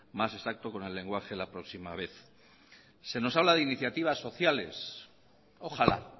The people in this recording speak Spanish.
más exacto con el lenguaje la próxima vez se nos habla de iniciativas sociales ojalá